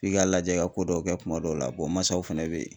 F'i ka lajɛ i ka ko dɔw kɛ kuma dɔw la masaw fɛnɛ bɛ ye.